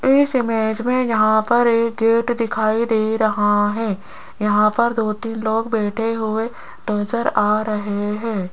इस इमेज में यहां पर एक गेट दिखाई दे रहा है यहां पर दो तीन लोग बैठे हुए नजर आ रहे हैं।